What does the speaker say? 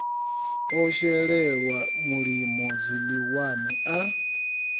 o shelelwa mulimo zwiḽiwani a